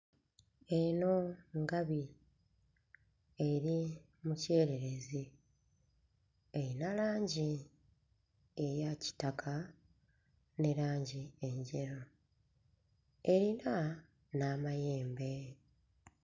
Eno ngabi eri mu kyereerezi. Erina langi eya kitaka ne langi enjeru; erina n'amayembe.